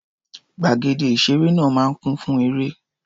Gbàgede ìṣeré náà máa ń kún fún eré.